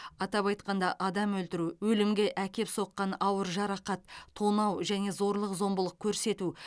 атап айтқанда адам өлтіру өлімге әкеп соққан ауыр жарақат тонау және зорлық зомбылық көрсету